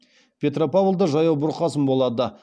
петропавлда жаяу бұрқасын болады